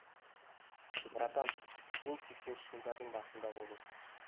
братан сен сексенінші жылдардың басында болдың